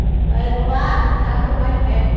Aí ele falou, ah, vou levar meu pai no médico.